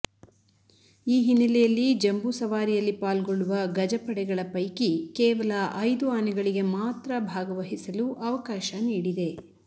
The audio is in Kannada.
ಈ ಹಿನ್ನೆಲೆಯಲ್ಲಿ ಜಂಬೂ ಸವಾರಿಯಲ್ಲಿ ಪಾಲ್ಗೊಳ್ಳುವ ಗಜಪಡೆಗಳ ಪೈಕಿ ಕೇವಲ ಐದು ಆನೆಗಳಿಗೆ ಮಾತ್ರ ಭಾಗವಹಿಸಲು ಅವಕಾಶ ನೀಡಿದೆ